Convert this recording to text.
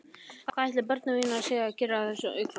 Hvað ætli börnin mín séu að gera á þessu augnabliki?